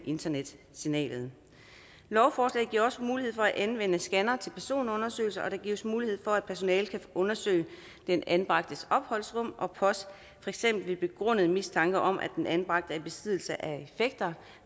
internetsignalet lovforslaget giver også mulighed for at anvende scannere til personundersøgelse og der gives mulighed for at personalet kan undersøge den anbragtes opholdsrum for eksempel ved begrundet mistanke om at den anbragte er i besiddelse af effekter